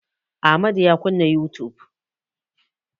Amadu ya kunna youtube.